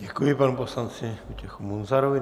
Děkuji panu poslanci Vojtěchu Munzarovi.